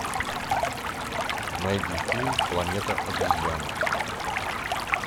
найди фильм планета обезьян